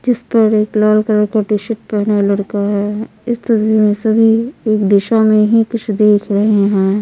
जिस पर एक लाल कलर का टी-शर्ट पहने लड़का है इस तस्वीर में सभी एक दिशा में ही कुछ देख रहे हैं।